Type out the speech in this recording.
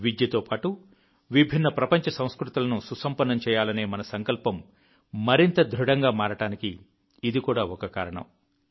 విద్యతో పాటు విభిన్న ప్రపంచ సంస్కృతులను సుసంపన్నం చేయాలనే మన సంకల్పం మరింత దృఢంగా మారడానికి ఇది కూడా ఒక కారణం